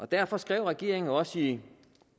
derfor skrev regeringen også i